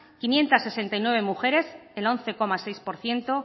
quinientos sesenta y nueve mujeres el once coma seis por ciento